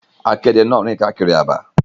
Akéde na rin kaakiri àbá.